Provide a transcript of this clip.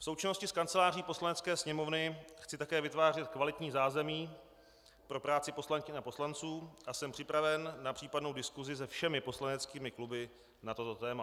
V součinnosti s Kanceláří Poslanecké sněmovny chci také vytvářet kvalitní zázemí pro práci poslankyň a poslanců a jsem připraven na případnou diskusi se všemi poslaneckými kluby na toto téma.